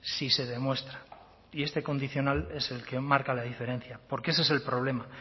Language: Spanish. si se demuestra y este condicional es el que marca la diferencia porque ese es el problema